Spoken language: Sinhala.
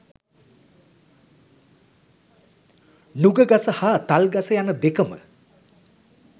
නුගගස හා තල්ගස යන දෙකම